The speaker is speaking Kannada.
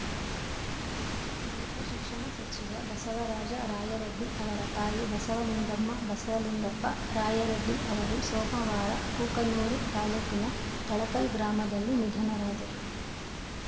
ಮಾಜಿ ಉನ್ನತ ಶಿಕ್ಷಣ ಸಚಿವ ಬಸವರಾಜ ರಾಯರಡ್ಡಿ ಅವರ ತಾಯಿ ಬಸಲಿಂಗಮ್ಮ ಬಸಲಿಂಗಪ್ಪ ರಾಯರಡ್ಡಿ ಅವರು ಸೋಮವಾರ ಕೂಕನೂರು ತಾಲೂಕಿನ ತಳಕಲ್‌ ಗ್ರಾಮದಲ್ಲಿ ನಿಧನರಾದರು